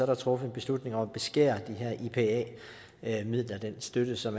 der truffet en beslutning om at beskære de her ipa midler den støtte som